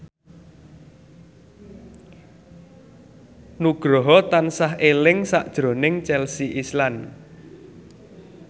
Nugroho tansah eling sakjroning Chelsea Islan